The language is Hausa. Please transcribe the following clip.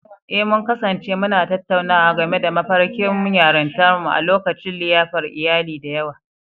Eh, mun kasance muna tattaunawa game da mafarkin yarintarmu a lokacin liyafar iyali da yawa.